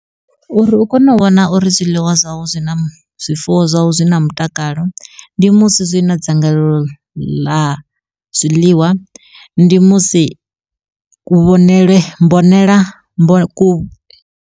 Uri u kone u vhona uri zwiḽiwa zwau zwi na zwifuwo zwau zwi na mutakalo, ndi musi zwi na dzangalelo ḽa zwiḽiwa ndi musi ku vhonele mbonela ku .